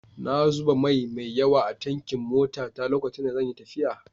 Na zuba mai mai yawa a tankin motata lokacin da zan yi tafiya.